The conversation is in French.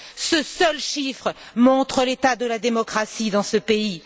Ce seul chiffre montre l'état de la démocratie dans ce pays.